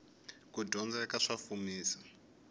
kudyondzeka sa fumisa